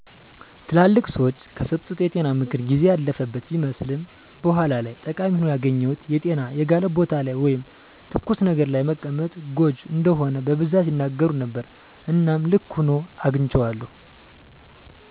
ትላልቅ ሰዎች ከሰጡት የጤና ምክር ጊዜ ያለፈበት ቢመስልም በኋላ ላይ ጠቃሚ ሆኖ ያገኘሁት የጤና የጋለ ቦታ ላይ ወይም ተኩስ ነገር ለይ መቀመጥ ጎጅ እንደሆነ በቡዛት ያናገሩ ነበረ እናም ልክ ሁኖ አግንቸዋለዉ።